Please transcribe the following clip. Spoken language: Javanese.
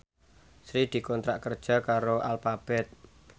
Sri dikontrak kerja karo Alphabet